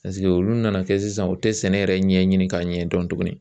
Paseke olu nana kɛ sisan u tɛ sɛnɛ yɛrɛ ɲɛɲini k'a ɲɛ dɔn tugunni.